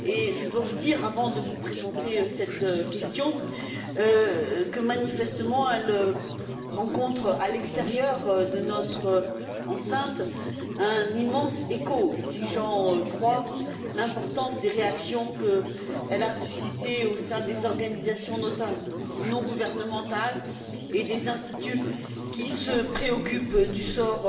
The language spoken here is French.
Je dois vous dire, avant de vous présenter cette question que, manifestement, elle éveille à l'extérieur de notre enceinte, un immense écho, si j'en crois l'importance des réactions qu'elle a suscitées au sein des organisations non gouvernementales et des instituts qui se préoccupent du sort